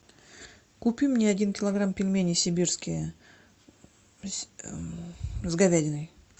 купи мне один килограмм пельменей сибирские с говядиной